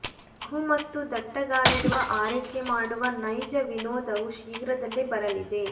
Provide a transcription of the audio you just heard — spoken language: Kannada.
ಮಗು ಮತ್ತು ದಟ್ಟಗಾಲಿಡುವ ಆರೈಕೆ ಮಾಡುವ ನೈಜ ವಿನೋದವು ಶೀಘ್ರದಲ್ಲೇ ಬರಲಿದೆ